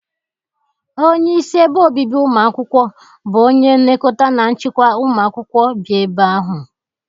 Onye isi ebe obibi ụmụ akwụkwọ bụ onye nlekọta na nchịkwa ụmụ akwụkwọ bi ebe ahụ.